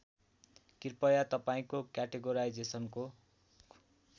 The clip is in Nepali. कृपया तपाईँको क्याटेगोराइजेसनको